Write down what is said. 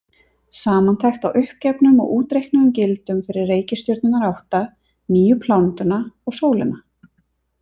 Samantekt á uppgefnum og útreiknuðum gildum fyrir reikistjörnurnar átta, nýju plánetuna og sólina.